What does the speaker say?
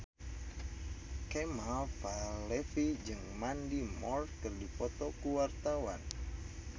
Kemal Palevi jeung Mandy Moore keur dipoto ku wartawan